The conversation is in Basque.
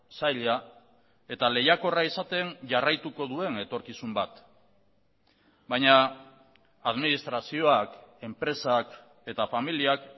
zaila eta lehiakorra izaten jarraituko duen etorkizun bat baina administrazioak enpresak eta familiak